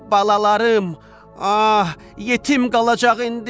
Balalarım, ah, yetim qalacaq indi!